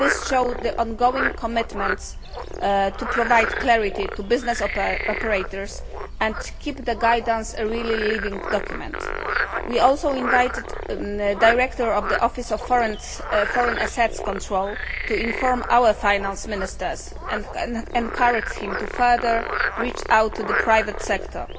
This has demonstrated ongoing commitment to provide clarity to business operators and to keep the guidance a living document. We also invited the Director of the Office of Foreign Assets Control to inform our finance ministers and encourage him to further reach out to the private sector.